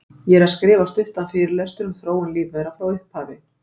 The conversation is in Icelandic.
Ég er að skrifa stuttan fyrirlestur um þróun lífvera frá upphafi.